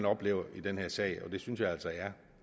oplever i den her sag og det synes jeg altså er